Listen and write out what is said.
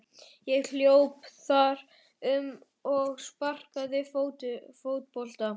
Ég hljóp þar um og sparkaði fótbolta.